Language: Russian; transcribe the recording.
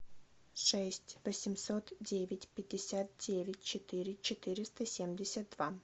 шесть восемьсот девять пятьдесят девять четыре четыреста семьдесят два